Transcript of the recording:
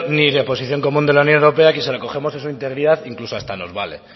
ni la posición común de la unión europea que si la cogemos en su integridad incluso hasta nos vale